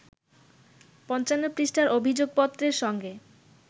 ৫৫ পৃষ্ঠার অভিযোগপত্রের সঙ্গে